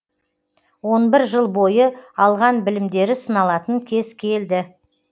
он бір жыл бойы алған білімдері сыналатын кез келді